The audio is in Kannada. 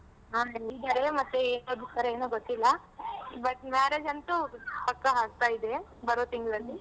ಹಾ ಹೇಳಿದಾರೆ ಮತ್ತೆ ಏನ್ ಓದಿಸ್ತರೋ ಏನೋ ಗೊತ್ತಿಲ್ಲ. but marriage ಅಂತೂ ಪಕ್ಕ ಆಗ್ತಾ ಇದೆ ಬರೋ ತಿಂಗ್ಳಲ್ಲಿ.